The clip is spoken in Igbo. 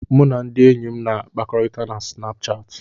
Mụ na ndị enyi m na-akpakọrịta na Sinapuchati.